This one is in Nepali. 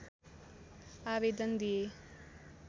आवेदन दिए